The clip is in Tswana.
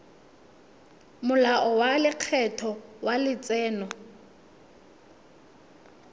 molao wa lekgetho wa letseno